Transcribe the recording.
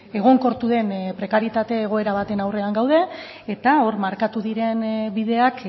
egonkortu den prekarietate egoera baten aurrean gaude eta hor markatu diren bideak